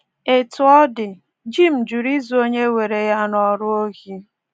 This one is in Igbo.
Etu ọ dị, Jim jụrụ izu onye were ya n’ọrụ ohi.